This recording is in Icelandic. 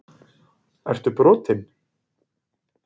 Ertu brotinn??!